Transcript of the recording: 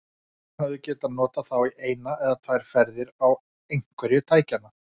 Hann hefði getað notað þá í eina eða tvær ferðir á einhverju tækjanna.